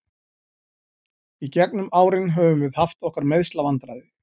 Í gegnum árin höfum við haft okkar meiðslavandræði.